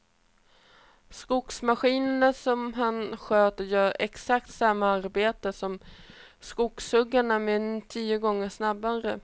Skogsmaskinen som han sköter gör exakt samma arbete som skogshuggarna, men tio gånger snabbare.